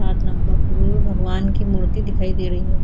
भगवान की मूर्ति दिखाई दे रही है।